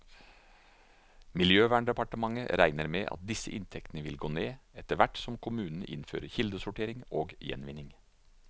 Miljøverndepartementet regner med at disse inntektene vil gå ned, etterhvert som kommunene innfører kildesortering og gjenvinning.